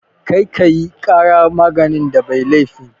Kar ki ƙara magana da mai laifin!